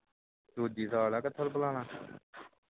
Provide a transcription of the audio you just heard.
ਦੂਜੀ ਸਾਲਿਆ ਕਿਥੋਂ ਬੁਲਾ ਲਵਾ